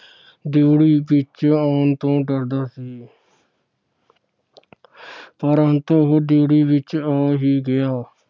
ਡਿਉਢੀ ਵਿਚ ਆਉਣ ਤੋਂ ਡਰਦਾ ਸੀ ਪਰ ਅੰਤ ਉਹ ਡਿਓਢੀ ਵਿਚ ਆ ਹੀ ਗਿਆ।